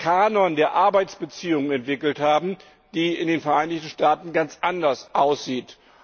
Kanon der Arbeitsbeziehungen entwickelt haben, die in den Vereinigten Staaten ganz anders aussehen.